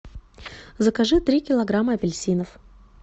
закажи три килограмма апельсинов